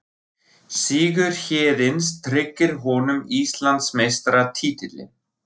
Sigur Héðins tryggir honum Íslandsmeistaratitilinn